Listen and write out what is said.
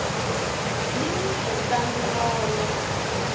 yi n wi endlangi mona